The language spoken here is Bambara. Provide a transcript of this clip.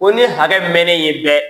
Ko ni ye hakɛ mɛnen ye dɛ